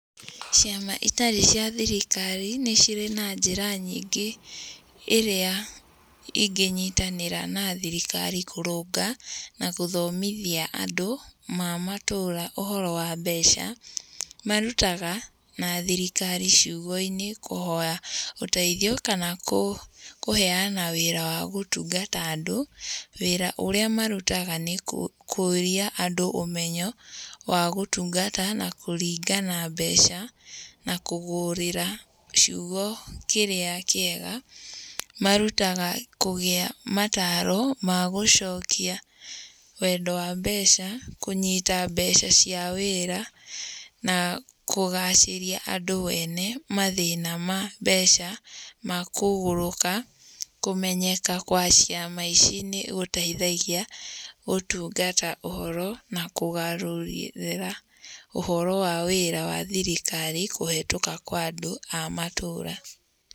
Ciama itari cia thirikari, nĩcirĩ na njĩra nyingĩ ĩrĩa ingĩnyitanĩra na thirikari kũrũnga na gũthomothia andũ a matũũra ũhoro wa mbeca. Marutaga na thirikari ciugo-inĩ kũhoya ũteithio kana kũheyana wĩra wa gũtungata andũ, wĩra ũrĩa marutaga nĩ kũrĩa andũ ũmenyo wa gũtungata na kũringana mbeca na kũgũrĩra ciugo kĩrĩa kĩega. Marutaga kũgĩa mataro magũcokia wendo wa mbeca, kũnyita mbeca cia wĩra, na kũgacĩria andũ o ene mathĩna ma mbeca, makũgũrũka. Kũmenyeka gwa ciama ici nĩ gũteithagĩa ũtungata ũhoro na kũgarũrĩra ũhoro wa thirikari, kũhetũka andũ a matũũra.